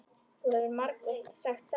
Það hefur þú margoft sagt.